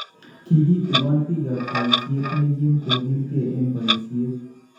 Kikitigon biikab bayiisyeet ne kiim kokilkee eng bayiisyeet